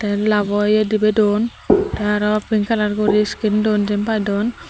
yot love o ye dibi don te aro pink colour guri screen don jin pai don.